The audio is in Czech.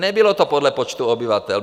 Nebylo to podle počtu obyvatel.